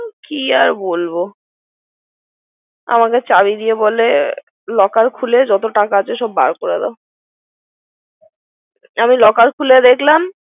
হুম কিআর বলব, আমাকে চাবি বলে locker খুলে যত টাকা আছে সব বার করে দাও, । আমি Locker খুলে দেখলাম।